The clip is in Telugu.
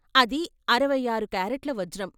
అది అరవై ఆరు కారెట్ల వజ్రం.